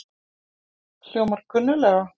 Hljómar kunnuglega?